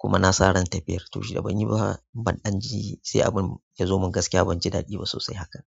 kuma na sa ran tafiyar to shida ban yi ba ban ɗan ji sai abun ya zo min gaskiya ban ji daɗi ba sosai hakan.